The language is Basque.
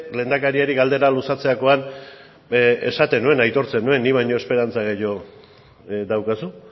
lehendakariari galdera luzatzerakoan esaten nuen aitortzen nuen ni baino esperantza gehiago daukazu